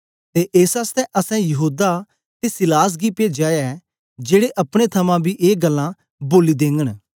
ते एस आसतै असैं यहूदा ते सीलास गी पेजया ऐ जेड़े अपने थमां बी ए गल्लां बोली देगन